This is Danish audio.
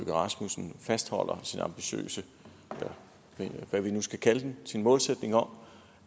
rasmussen fastholder sin ambitiøse eller hvad vi nu skal kalde den målsætning om